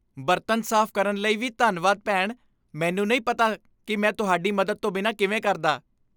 ਬਰਤਨ ਸਾਫ਼ ਕਰਨ ਲਈ ਵੀ ਧੰਨਵਾਦ, ਭੈਣ। ਮੈਨੂੰ ਨਹੀਂ ਪਤਾ ਕਿ ਮੈਂ ਤੁਹਾਡੀ ਮਦਦ ਤੋਂ ਬਿਨਾਂ ਕਿਵੇਂ ਕਰਦਾ।